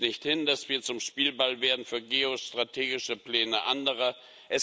Nehmen Sie es nicht hin, dass wir zum Spielball für geostrategische Pläne anderer werden!